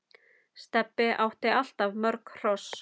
Stebbi átti alltaf mörg hross.